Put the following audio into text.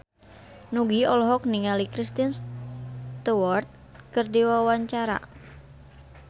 Nugie olohok ningali Kristen Stewart keur diwawancara